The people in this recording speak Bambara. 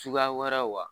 Suguya wɛrɛ wa